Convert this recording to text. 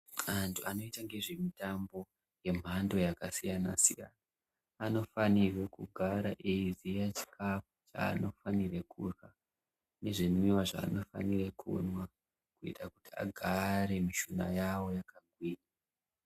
Antu anoite ngezvemitambo yemhando yakasiyana -siyana anofanirwe kugara eiziye chikafu chanofanirwe kurya nezvinwiwa zvanofanire kumwa kuita kuti agare mishuna yavo yakagwinya.